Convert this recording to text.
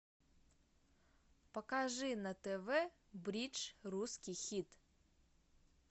покажи на тв бридж русский хит